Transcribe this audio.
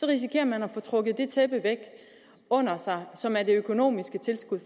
risikerer man at få trukket det tæppe væk under sig som er det økonomiske tilskud